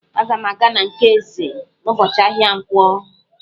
Aga m aga na nke Eze n'ụbọchị ahịa nkwọ.